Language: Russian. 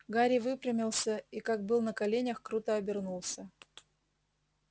гарри выпрямился и как был на коленях круто обернулся